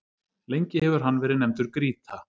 Lengi hefur hann verið nefndur Grýta.